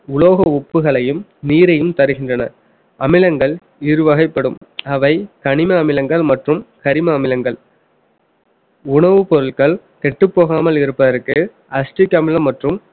உலோக உப்புகளையும் நீரையும் தருகின்றன அமிலங்கள் இரு வகைப்படும் அவை கனிம அமிலங்கள் மற்றும் கரிம அமிலங்கள் உணவுப் பொருட்கள் கெட்டப் போகாமல் இருப்பதற்கு acetic அமிலம் மற்றும்